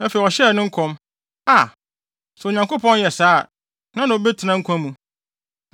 Afei ɔhyɛɛ ne nkɔm: “Aa! Sɛ Onyankopɔn yɛ sɛɛ a, hena na ɔbɛtena nkwa mu?